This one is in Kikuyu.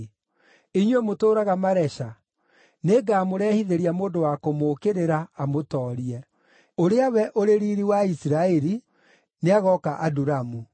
Inyuĩ mũtũũraga Maresha nĩngamũrehithĩria mũndũ wa kũmũũkĩrĩra, amũtoorie. Ũrĩa we ũrĩ Riiri wa Isiraeli nĩagooka Adulamu.